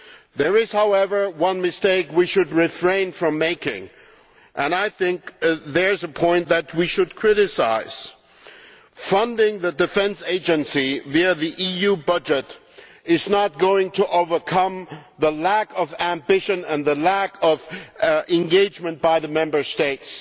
There is, however, one mistake we should refrain from making, and I think there is a point that we should criticise. Funding the Defence Agency via the EU budget is not going to overcome the lack of ambition and engagement by the Member States.